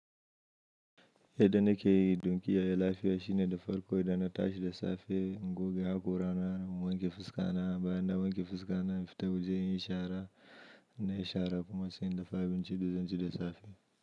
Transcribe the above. Yadda na ke yi, dun kiyaye lafiya shine da farko idan na tashi da safe, in goge haƙora na, wanke fuska na, bayan na wanke fuska na, fita waje in yi ishara na yi shara kuma sai in dafa abincin da zanci da safe.